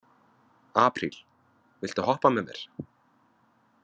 Apríl, viltu hoppa með mér?